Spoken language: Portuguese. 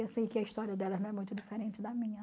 E assim, que a história delas não é muito diferente da minha.